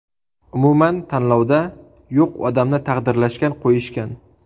Umuman tanlovda yo‘q odamni taqdirlashgan-qo‘yishgan.